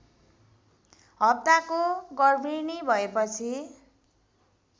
हप्ताको गर्भिणी भएपछि